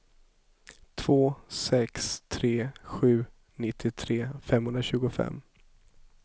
två sex tre sju nittiotre femhundratjugofem